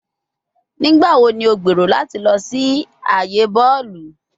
Nigbawo ni o gbero lati lọ si aaye bọọlu?